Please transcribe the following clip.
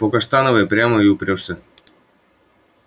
по каштановой прямо и упрёшься